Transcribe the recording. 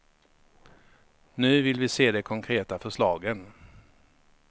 Nu vill vi se de konkreta förslagen.